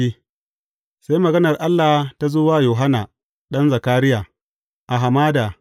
Sai maganar Allah ta zo wa Yohanna, ɗan Zakariya a hamada.